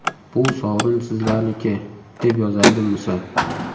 Bu sovrin sizlarniki”,deb yozadi Musa.